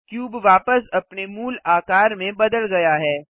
cube वापस अपने मूल आकार में बदल गया है